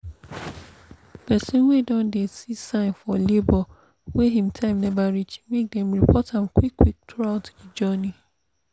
persin wey don dey see sign for labor wey him time never reach make dem report am qik quik throughout the journey